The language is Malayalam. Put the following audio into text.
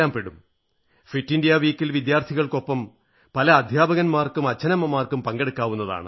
ഫിറ്റ് ഇന്ത്യാ വാരത്തിൽ വിദ്യാർഥികൾക്കൊപ്പം പല അധ്യാപകർക്കും അച്ഛനമ്മമാർക്കും പങ്കെടുക്കാവുന്നതാണ്